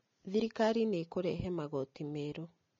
Thirikari nĩĩkũrehe magooti meru